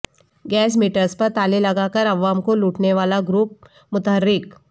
gas meters پر تالے لگاکر عوام کو لوٹنے والا گروپ متحرک